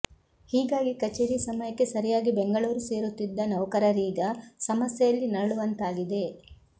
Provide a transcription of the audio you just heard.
ಹೀಗಾಗಿ ಕಚೇರಿ ಸಮಯಕ್ಕೆ ಸರಿಯಾಗಿ ಬೆಂಗಳೂರು ಸೇರುತ್ತಿದ್ದ ನೌಕರರೀಗ ಸಮಸ್ಯೆಯಲ್ಲಿ ನರಳುವಂತಾಗಿದೆ